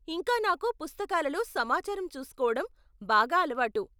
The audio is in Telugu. ఇంకా నాకు పుస్తకాలలో సమాచారం చూసుకోవటం బాగా అలవాటు.